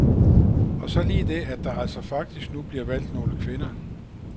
Og så lige det, at der altså faktisk nu bliver valgt nogle kvinder.